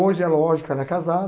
Hoje, é lógico, ela é casada.